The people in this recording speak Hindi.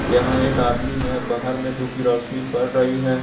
यहां एक आदमी है बाहर में धूप की रोशनी पड़ रही है ।